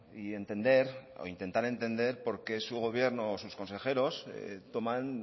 y entender o intentar entender porqué su gobierno o sus consejeros toman